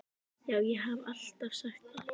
Já, ég haf alltaf sagt það.